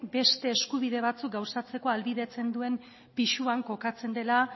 beste eskubide batzuk gauzatzeko ahalbideratzen duen pisuan kokatzen dela